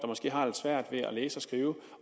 måske har lidt svært ved at læse og skrive